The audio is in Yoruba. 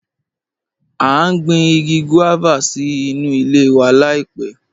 A n gbìn igi guávà sí nú ilẹ̀ wa laipẹ̀